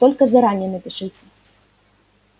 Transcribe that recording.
только заранее напишите